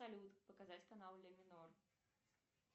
салют показать канал ля минор